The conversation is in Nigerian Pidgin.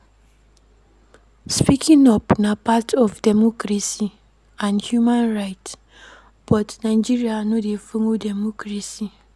Speaking up na part of democracy and human rights but Nigeria no de follow democracy